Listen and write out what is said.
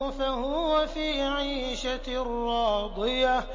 فَهُوَ فِي عِيشَةٍ رَّاضِيَةٍ